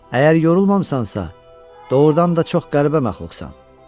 Əgər yorulmamısansa, doğurdan da çox qəribə məxluqsan.